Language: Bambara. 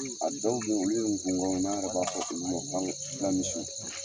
a tɔw bɛ yi olu gungɔn ye n'an yɛrɛ b'a fɔ olu ma ko fila fila misiw.